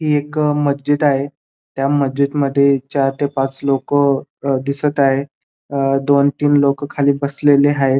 ही एक मज्जीद आहे त्या मज्जीदमध्ये चार ते पाच लोक दिसत आहेत अ दोन तीन लोक खाली बसलेले आहेत.